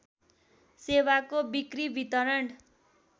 सेवाको बिक्री वितरण